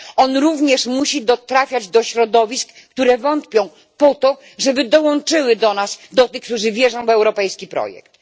On musi również trafiać do środowisk, które wątpią, po to, by dołączyły do nas, do tych, którzy wierzą w europejski projekt.